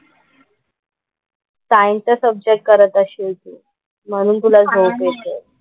सायन्सचा सब्जेक्ट करत असशील तू, म्हणून तुला झोप येतेय.